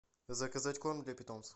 заказать корм для питомцев